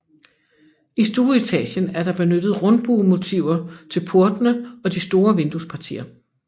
I stueetagen er der benyttet rundbuemotiver til portene og de store vinduespartier